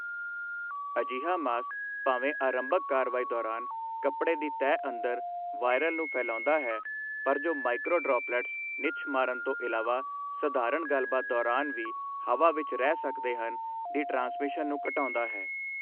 ਅਜਿਹਾ ਮਾਸਕ ਭਾਵੇਂ ਆਰੰਭਕ ਕਾਰਵਾਈ ਦੌਰਾਨ ਕੱਪੜੇ ਦੀ ਤਹਿ ਅੰਦਰ ਵਾਇਰਲ ਨੂੰ ਫੈਲਾਉਂਦਾ ਹੈ ਪਰ ਜੋ ਮਾਈਕਰੋਡ੍ਰੋਪਲੈਟਸ ਨਿੱਛ ਮਾਰਨ ਤੋਂ ਇਲਾਵਾ ਸਧਾਰਣ ਗੱਲਬਾਤ ਦੌਰਾਨ ਵੀ ਹਵਾ ਵਿੱਚ ਰਹਿ ਸਕਦੇ ਹਨ, ਦੀ ਟ੍ਰਾਂਸਮਿਸ਼ਨ ਨੂੰ ਘਟਾਉਂਦਾ ਹੈ।